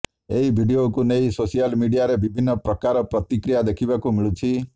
ଏହି ଭିଡିଓକୁ ନେଇ ସୋସିଆଲ ମିଡିଆରେ ବିଭିନ୍ନ ପ୍ରକାର ପ୍ରତିକ୍ରିୟା ଦେଖିବାକୁ ମିଳୁଛି